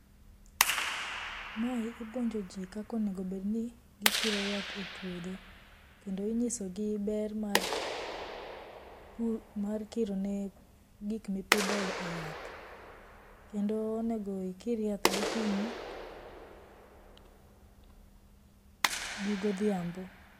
Mae, ipuonjo jii kaka onego obed ni gikiro yath epuodho, kendo inyisogi ber mar pu mar kiro ne gikma ipidho yath kendo onego ikir yath gokinyi gi godhiambo